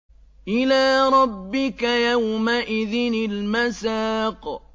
إِلَىٰ رَبِّكَ يَوْمَئِذٍ الْمَسَاقُ